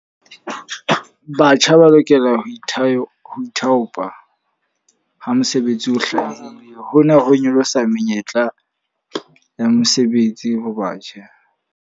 Batjha ba lokela ho ithao ho ithaopa ha mosebetsi o hlaha. Hona ho nyolosa menyetla ya mosebetsi ho batjha.